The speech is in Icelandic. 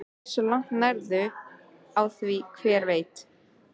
Hversu langt nærðu á því, hver veit?